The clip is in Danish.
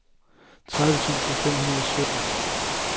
tredive tusind fem hundrede og sytten